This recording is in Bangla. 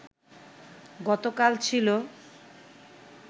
গতকাল ছিল